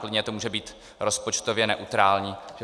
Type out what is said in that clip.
Klidně to může být rozpočtově neutrální.